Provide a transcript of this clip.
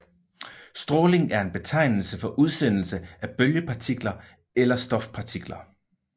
Stråling er en betegnelse for udsendelse af bølgepartikler eller stofpartikler